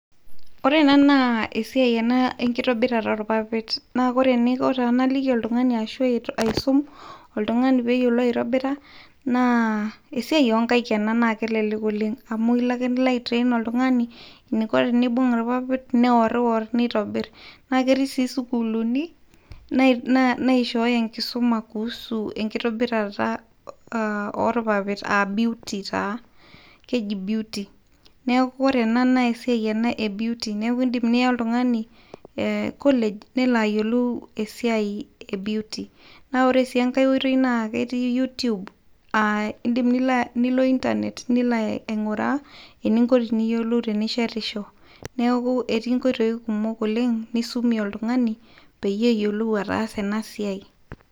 Ore ena na esiai ena enkitobirata olpapit, na ore enaiko tenaliki oltungani ashu aisum oltungani peyio; ou aitobira naa esiai onkaik ena na kelelek oleng, amu ilo ake nilo aitrain oltungani, enaiko tenibung ilpapit neor iror nitobir, na keti si sukulini, naiishoyo enkisuma kuhusu enkitobirata olpapit, aa beuty taa, keji beauty, niaku kore ena na esiai ena ebeauty, niaku kindim niya oltungani college, nelo ayiolou esiai e beauty, na ore si enkae oitoi na keti you tube, aa indim nilo internet nilo aingura eningo teniyiolou tenishetisho, niaku eti nkoitoi kumok oleng nisumie oltungani, pee eyiolou atasa ena siai,